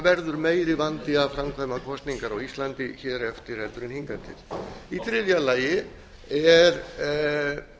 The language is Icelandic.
verður meiri vandi að framkvæma kosningar á íslandi hér eftir heldur en hingað til í þriðja lagi er